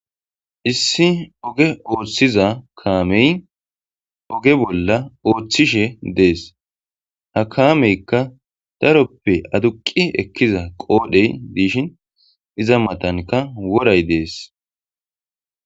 Issi oge oothiza kaamey oge bolla oothishe dees ha kaameykka taroppe aduqi ekkiza qoodhey diishin iza matanka woray dees